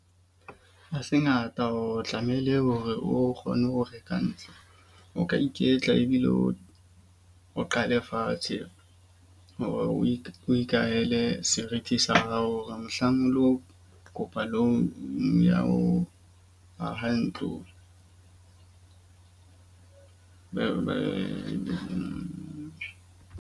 Ha se ngata hore tlamehile hore o kgone ho reka ntlo, o ka iketla ebile o o qale fatshe hore o ikahele serithi sa hao hore mohlang o lo kopa loan ya ho aha ntlo .